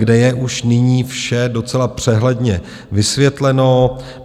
, kde je už nyní vše docela přehledně vysvětleno.